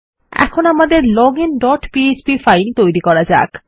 এখন আমাদের login dot PHP file তৈরী করা যাক